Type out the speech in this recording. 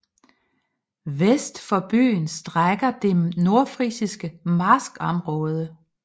Vest for byen strækker sig det nordfrisiske marskområde